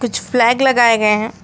कुछ फ्लैग लगाए गए हैं।